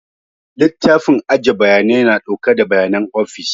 Littafin aje bayanai na ɗauke da bayanan ofis